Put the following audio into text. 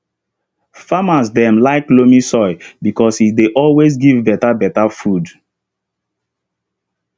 farmers dem dey like loamy soil because e dey always give better better food